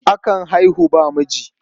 Akan haihu babu miji?